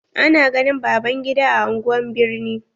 Ana ganin baban gida a anguwan birni.